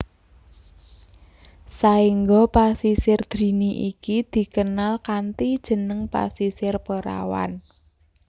Saengga Pasisir Drini iki dikenal kanthi jeneng Pasisir Perawan